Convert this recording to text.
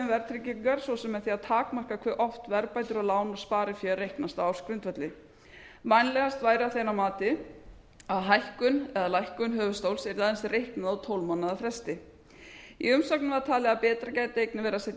verðtryggingar svo sem með því að takmarka hve oft verðbætur á lán og sparifé reiknast á ársgrundvelli vænlegast væri að þeirra mati að hækkun eða lækkun höfuðstóls yrði aðeins reiknuð á tólf mánaða fresti í umsögnum var talið að betra gæti einnig verið að setja